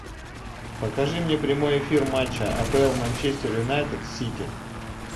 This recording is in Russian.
покажи мне прямой эфир матча апл манчестер юнайтед с сити